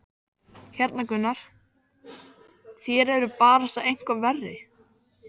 Hérna Gunnar, þér eruð barasta eitthvað verri!